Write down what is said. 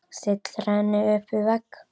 Stillir henni upp við vegg.